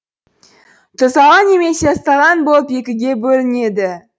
тұздалған немесе ысталған болып екіге бөлінеді